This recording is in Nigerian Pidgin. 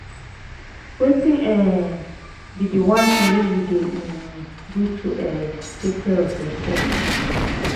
wetin um be di one thing you dey um do to um take care of yourself?